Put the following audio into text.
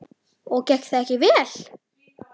Og gekk það ekki vel.